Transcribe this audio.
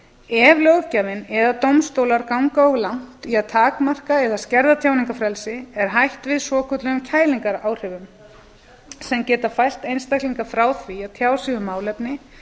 ef löggjafinn eða dómstólar ganga of langt í að takmarka eða skerða tjáningarfrelsi er hætt við svokölluðum kælingaráhrifum sem geta fælt einstaklinga frá því að tjá sig um málefni